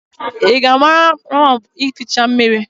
I ga-anara ya moopu ificha mmiri?